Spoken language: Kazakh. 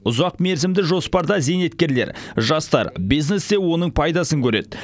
ұзақ мерзімді жоспарда зейнеткерлер жастар бизнес те оның пайдасын көреді